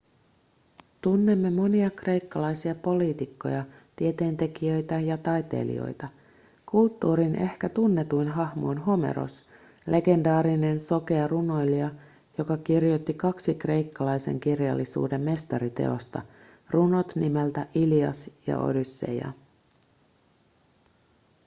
tunnemme monia kreikkalaisia poliitikkoja tieteentekijöitä ja taiteilijoita kulttuurin ehkä tunnetuin hahmo on homeros legendaarinen sokea runoilija joka kirjoitti kaksi kreikkalaisen kirjallisuuden mestariteosta runot nimeltä ilias ja odysseia